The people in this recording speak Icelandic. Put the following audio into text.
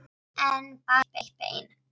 En bara eitt bein.